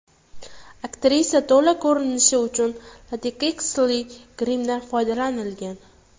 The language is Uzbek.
Aktrisa to‘la ko‘rinishi uchun lateksli grimdan foydalanilgan.